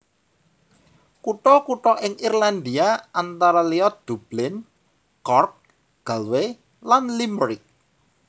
Kutha kutha ing Irlandia antara liya Dublin Cork Galway lan Limerick